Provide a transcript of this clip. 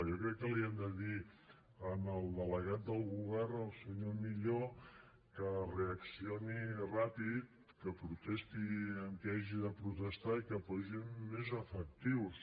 jo crec que li han de dir al delegat del govern al senyor millo que reaccioni ràpid que protesti a qui hagi de protestar i que hi posin més efectius